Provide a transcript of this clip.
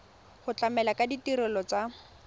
go tlamela ka ditirelo tsa